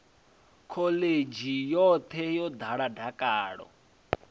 khoḽidzhi yoṱhe yo ḓala dakalo